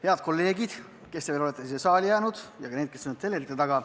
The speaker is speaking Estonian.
Head kolleegid, kes te olete veel siia saali jäänud, ja ka need, kes on telerite taga!